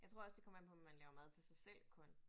Jeg tror også det kommer an på om man laver mad til sig selv kun